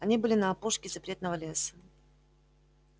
они были на опушке запретного леса